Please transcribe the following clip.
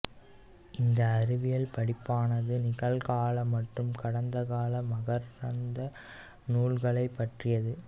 இந்த அறிவியல் படிப்பானது நிகழ்கால மற்றும் கடந்தகால மகரந்தத் தூள்களைப் பற்றியது